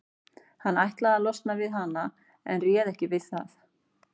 Hann ætlaði að losna við hana en réð ekki við það.